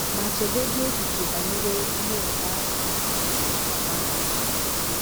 Ma chegodị echiche banyere ihe nke ahụ ga - agwa ha.